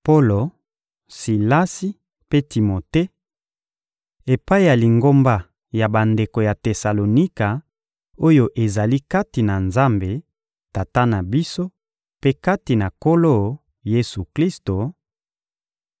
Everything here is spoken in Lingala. Polo, Silasi mpe Timote; Epai ya Lingomba ya bandeko ya Tesalonika, oyo ezali kati na Nzambe, Tata na biso, mpe kati na Nkolo Yesu-Klisto: